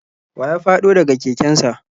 Wa ya fado da ga keken sa?